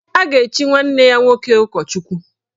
A ga-echi nwanne ya nwoke ụkọchukwu.